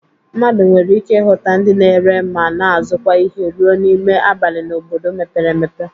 Mmadụ nwere ike ịhụta ndị na-ere ma na-azụkwa ihe rue n'ime abali n'obodo mepere emepe.